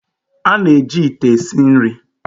A na-eji ite esi nri.